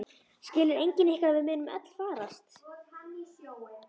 Skilur enginn ykkar að við munum öll farast?